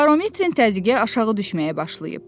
Barometrin təzyiqi aşağı düşməyə başlayıb.